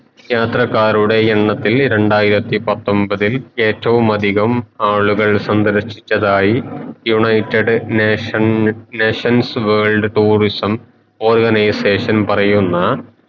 യാത്രക്കാരുടെ എണ്ണത്തിൽ രണ്ടായിരത്തി പത്തൊമ്പതിൽ ഏറ്റവും അതികം ആളുകൾ സന്ദർശിച്ചിതയി United Nation Nations World Tourism Organisation പറയുന്ന